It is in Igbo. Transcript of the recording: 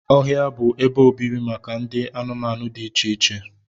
Ọhịa bụ ebe obibi maka ụdị anụmanụ dị iche iche